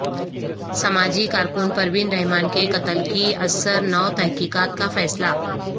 سماجی کارکن پروین رحمان کے قتل کی ازسر نو تحقیقات کا فیصلہ